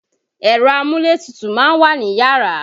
Ẹ̀rọ amúlétutù ma ń wà niyàrá.